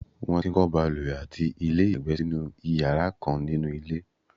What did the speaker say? won ti ń kọ́ ìbalùwẹ̀ àti ilé ìyàgbẹ́ sínú iyara kan ninuilé